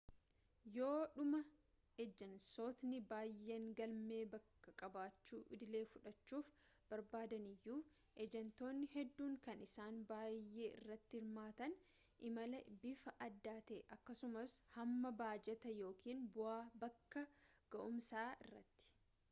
yoodhuma ejansootni baayeen galmee bakka qabachuu idilee fudhachuuf barbaadaniyyuu ejantootni hedduun kan isaan baayee irratti hirmaatan imalaa bifa addaa ta'e akkasumaas hamma baajataa yookiin bakka ga'umsaa irratti